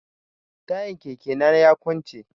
Tayan keke na ya kunce.